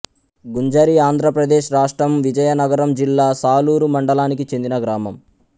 గుంజరిఆంధ్ర ప్రదేశ్ రాష్ట్రం విజయనగరం జిల్లా సాలూరు మండలానికి చెందిన గ్రామం